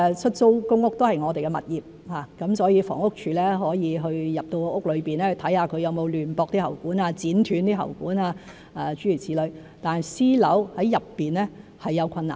出租公屋是我們的物業，房屋署可以進入屋內看看有沒有亂駁喉管、剪斷喉管諸如此類，但私樓內是有困難。